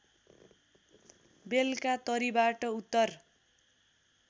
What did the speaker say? बेलकातरीबाट उत्तर